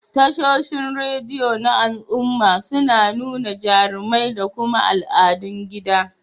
Tashoshin rediyo na al'umma suna nuna jarumai da kuma al'adun gida.